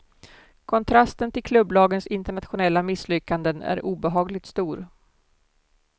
Kontrasten till klubblagens internationella misslyckanden är obehagligt stor.